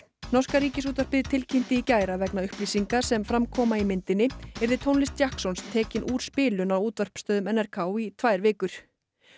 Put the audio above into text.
norska Ríkisútvarpið tilkynnti í gær að vegna upplýsinga sem fram koma í myndinni yrði tónlist tekin úr spilun á útvarpsstöðvum n r k í tvær vikur